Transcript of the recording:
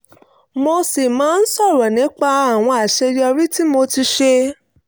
mo sì máa ń sọ̀rọ̀ nípa àwọn àṣeyọrí tí mo ti ṣe